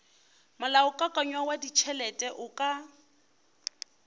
molaokakanywa wa ditšhelete o ka